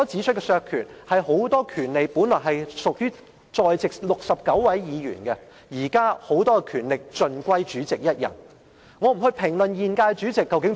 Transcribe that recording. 關於削權這個問題，很多權利本來屬於在席的69位議員，現在權力卻大部分集中在主席一人身上。